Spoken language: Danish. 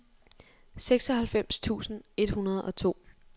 seksoghalvfems tusind et hundrede og to